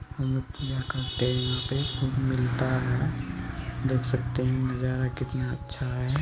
देख सकते है नजारा कितना अच्छा है|